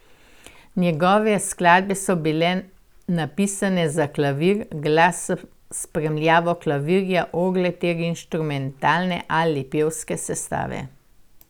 Njegove skladbe so bile napisane za klavir, glas s spremljavo klavirja, orgle ter inštrumentalne ali pevske sestave.